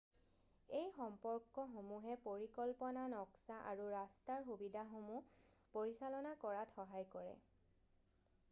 এই সম্পৰ্কসমূহে পৰিকল্পনা নক্সা আৰু ৰাস্তাৰ সুবিধাসমূহ পৰিচালনা কৰাত সহায় কৰে